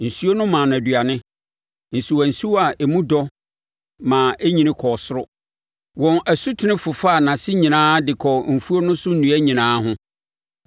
Nsuo no maa no aduane, nsuwa nsuwa a emu dɔ ma ɛnyini kɔɔ ɔsoro; wɔn asutene fofaa nʼase nyinaa de kɔɔ mfuo no so nnua nyinaa ho.